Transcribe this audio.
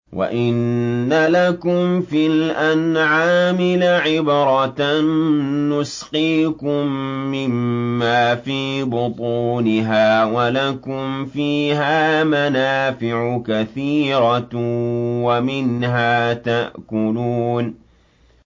وَإِنَّ لَكُمْ فِي الْأَنْعَامِ لَعِبْرَةً ۖ نُّسْقِيكُم مِّمَّا فِي بُطُونِهَا وَلَكُمْ فِيهَا مَنَافِعُ كَثِيرَةٌ وَمِنْهَا تَأْكُلُونَ